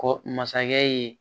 Kɔ masakɛ ye